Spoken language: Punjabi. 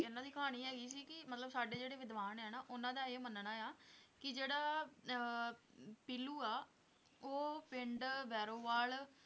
ਇਹਨਾਂ ਦੀ ਕਹਾਣੀ ਹੈਗੀ ਸੀ ਕਿ ਮਤਲਬ ਸਾਡੇ ਜਿਹੜੇ ਵਿਦਵਾਨ ਹੈ ਨਾ ਉਹਨਾਂ ਦਾ ਇਹ ਮੰਨਣਾ ਆਂ ਕਿ ਜਿਹੜਾ ਅਹ ਪੀਲੂ ਆ ਉਹ ਪਿੰਡ ਭੈਰੋਵਾਲ